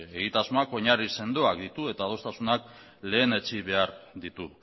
egitasmoak oinarri sendoak ditu eta egitasmoak lehen etsi behar ditu